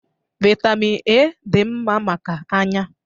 Vitamin A dị mma maka anya